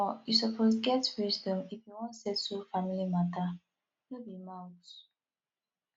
omo you suppose get wisdom if you wan settle family mata no be mouth